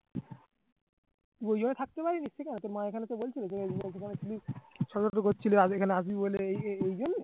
বোঝা হয়ে থাকতে পারবি নিজ থিকা তোর মা এখানেতো বলছিলো যে